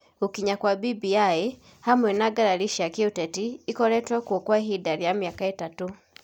Gũkinya kwa BBI, hamwe na ngarari cia kĩũteti ikoretwo kuo kwa ihinda rĩa mĩaka ĩtatũ,